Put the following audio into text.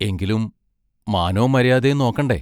എങ്കിലും മാനോം മരിയാതേം നോക്കണ്ടേ?